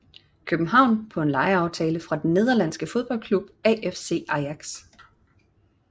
København på en lejeaftale fra den nederlandske fodboldklub AFC Ajax